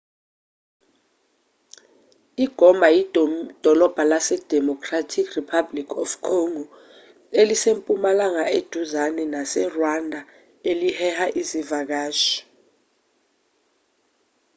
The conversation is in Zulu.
igoma yidolobha lasedemocratic republic of congo elise mpumalanga eduzane naserwanda eliheha izivakashi